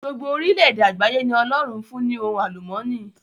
Gbogbo orílẹ èdè àgbáyé ni Ọlọ́run fún ní ohun àlùmọ́ọ́nì.